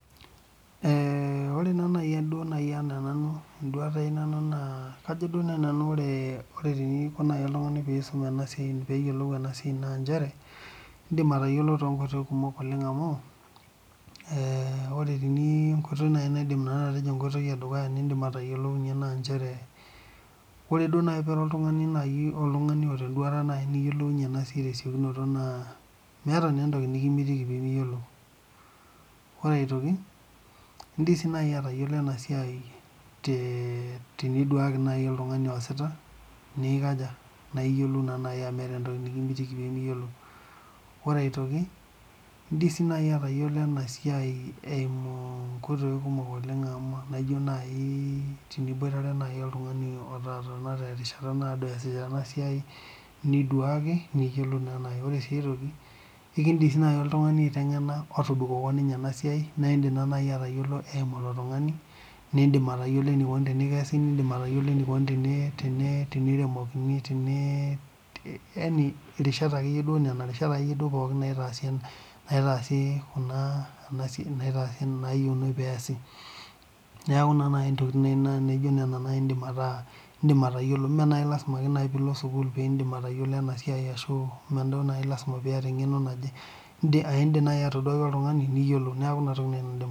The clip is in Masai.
Ore naa naji nanu ena enduata ai naa kajo naaji ore eniko oltung'ani pee eyiolou ena siai naa njere edim atayiolo too nkoitoi kumok amu ore enkoitoi edukuya naidim naanu atejo naa ore naaji pee ira oltung'ani otaa endutata niyiolowunye ena siai naa meeta naa entoki mikimitiki pee miyiolo ore aitoki edim naaji atayiolo ena siai tee niduake naaji oltung'ani ositaa na edim atayiolo amu metaa entoki mikimitiki eyiolou ore aitoki edim sii naaji atayiolo ena siai ena naaji eteniboitare oltung'ani ototana enkata naadoi esita ena siai niduake niyiolou naa naaji ore sii aitoki naa ekidim naaji oltung'ani otobikoko enasiai aiteng'ena naa eyiolou naa naaji eyimu elo tung'ani nidim atayiolo enikoni tenikesi nidim atayiolo enikoni teniremoki yaani Nena rishata pookin naitasi endaa naiyieuni pee esiet neeku naa naaji ntokitin naa naijio Nena naa edim atayiolo mee lasima naaji pee elo sukuul pidim atayiolo enasiai mee lasima naaji piata eng'eno naaje edim atoduaki oltung'ani niyiolou neeku ena toki naaji nanu aidim atejo